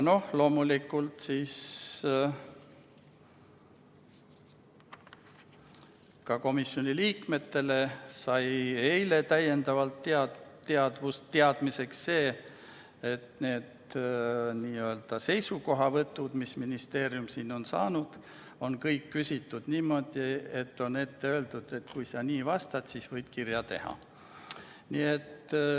Loomulikult ka komisjoni liikmed said eile täiendavalt teada, et need n-ö seisukohavõtud, mis ministeerium selle kohta on saanud, on kõik vastuseks küsimustele, mis on sõnastatud niimoodi, et on ette öeldud, et kui sa nii vastad, siis võid kirja saata.